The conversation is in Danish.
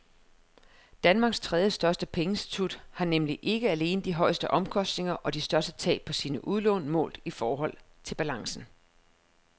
Danmarks tredjestørste pengeinstitut har nemlig ikke alene de højeste omkostninger og de største tab på sine udlån målt i forhold til balancen.